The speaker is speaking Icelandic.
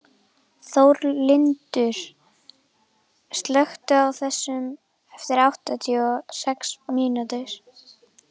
Þórlindur, slökktu á þessu eftir áttatíu og sex mínútur.